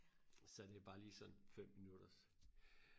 så er det jo bare lige sådan fem minutters